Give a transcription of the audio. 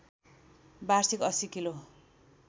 वार्षिक ८० किलो